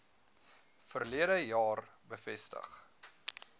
verlede jaar bevestig